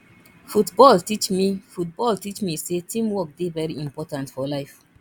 football teach me football teach me sey teamwork dey very important for life